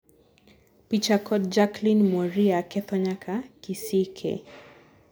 picha kod Jacklyne Mworia ketho nyaka kisike